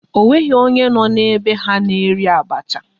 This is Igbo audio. Ọ nweghị onye nọ n'be ha na-eri abacha